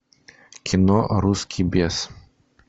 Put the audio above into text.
кино русский бес